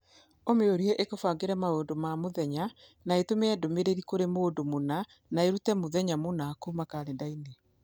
ũmĩũrie ikubangire maundu ma mũthenya na itume ndũmĩrĩri kũrĩ mũndũ mũna na irute mũthenya mũna kuuma kalenda-inĩ